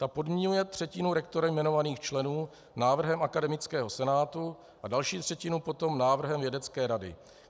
Ten podmiňuje třetinu rektorem jmenovaných členů návrhem akademického senátu a další třetinu potom návrhem vědecké rady.